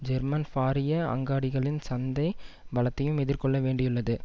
German ஃபாரிய அங்காடிகளின் சந்தை பலத்தையும் எதிர்கொள்ள வேண்டியுள்ளது